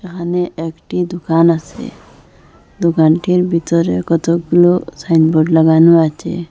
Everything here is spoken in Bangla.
এখানে একটি দুকান আসে দোকানটির বিতরে কতগুলো সাইনবোর্ড লাগানো আছে।